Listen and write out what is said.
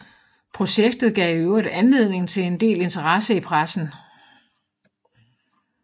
Projektet gav i øvrigt anledning til en del interesse i pressen